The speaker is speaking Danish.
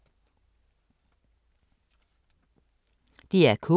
DR K